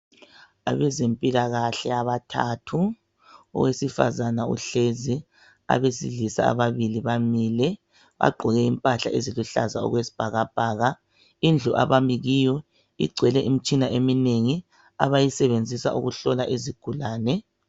Abezempilakahle abathathu owesifazana uhlezi abesilisa ababili bamile bagqoke impahla eluhlaza okwesibhakabhaka indlu abakimiyo igcwele imtshina eminengi abasisebenzisa ukuhlola izigulane